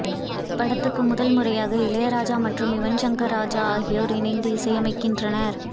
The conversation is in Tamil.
இந்தப்படத்துக்கு முதல் முறையாக இளையராஜா மற்றும் யுவன்ஷங்கர் ராஜா ஆகியோர் இணைந்து இசையமைக்கின்றனர்